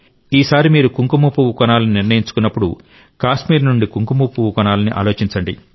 ఈసారి మీరు కుంకుమపువ్వు కొనాలని నిర్ణయించుకున్నప్పుడు కాశ్మీర్ నుండి కుంకుమపువ్వు కొనాలని ఆలోచించండి